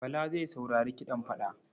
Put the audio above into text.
Bala zai saurari kiɗan fada.